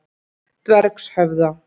Dvergshöfða